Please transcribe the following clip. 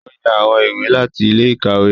O yá awọn ìwé láti ilé-ìkawe.